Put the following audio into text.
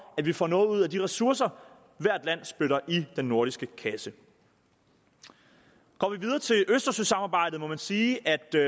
at vi får noget ud af de ressourcer hvert land spytter i den nordiske kasse går vi videre til østersøsamarbejdet må man sige at det